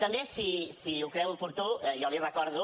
també si ho creu oportú jo li recordo